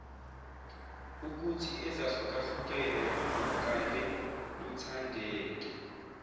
ukuthiezahlukahlukene luzwakale luthandeke